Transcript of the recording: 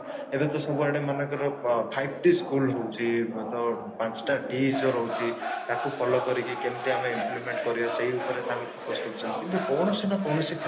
ଏବେ ତ ସବୁଆଡେ ମନେକର five t school ହଉଛି ତ ପାଞ୍ଚ ଟା t ଯୋଉ ରହୁଛି ତାକୁ follow କରିକି କେମିତି ଆମେ implement କରିବା ସେଇ ଉପରେ focus କରୁଛନ୍ତି କିନ୍ତୁ କୌଣସି ନା କୌଣସି